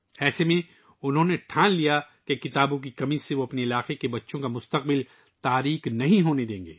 ایسے میں انہوں نے فیصلہ کیا کہ کتابوں کی کمی کے باعث اپنے علاقے کے بچوں کا مستقبل تاریک نہیں ہونے دیں گے